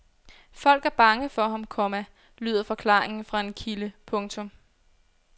Folk er bange for ham, komma lyder forklaringen fra en kilde. punktum